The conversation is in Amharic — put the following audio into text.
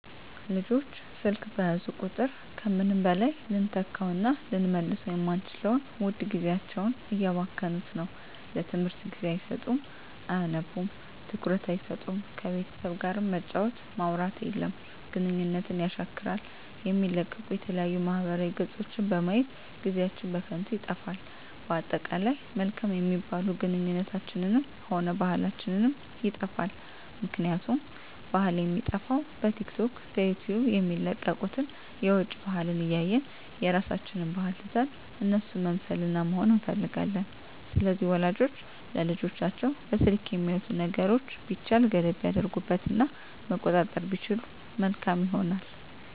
ልጆች ስልክ በያዙ ቁጥር ከምንም በላይ ልንተካዉእና ልንመልሰዉ የማንችለዉን ዉድ ጊዜያቸዉን እያባከኑት ነዉ ለትምህርት ጊዜ አይሰጡም አያነቡም ትኩረት አይሰጡም ከቤተሰብ ጋርም መጫወት ማዉራት የለም ግንኙነትን የሻክራል የሚለቀቁ የተለያዩ ማህበራዊ ገፆችን በማየት ጊዜአችን በከንቱ ይጠፋል በአጠቃላይ መልካም የሚባሉ ግንኙነታችንንም ሆነ ባህላችንንም ይጠፋል ምክንያቱም ባህል የሚጠፋዉ በቲክቶክ በዩቲዩብ የሚለቀቁትን የዉጭ ባህልን እያየን የራሳችንን ባህል ትተን እነሱን መምሰልና መሆን እንፈልጋለን ስለዚህ ወላጆች ለልጆቻቸዉ በስልክ የሚያዩትን ነገሮች ቢቻል ገደብ ቢያደርጉበት እና መቆጣጠር ቢችሉ መልካም ይሆናል